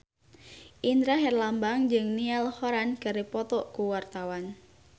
Indra Herlambang jeung Niall Horran keur dipoto ku wartawan